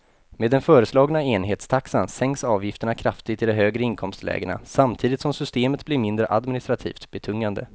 Med den föreslagna enhetstaxan sänks avgifterna kraftigt i de högre inkomstlägena samtidigt som systemet blir mindre administrativt betungande.